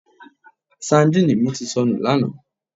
Sandíìnì mi ti sọnù lánàá